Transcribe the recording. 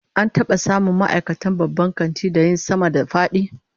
An taba samun ma'aikatan babban kantin da yin sama-da-fadi?